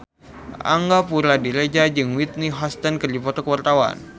Angga Puradiredja jeung Whitney Houston keur dipoto ku wartawan